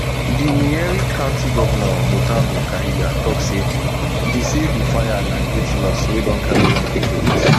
di nyeri county govnor mutahu kahiga tok say di say di fire na great loss wey don carry young pipo wit